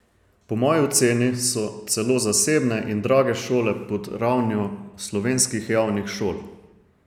Po moji oceni so celo zasebne in drage šole pod ravnjo slovenskih javnih šol.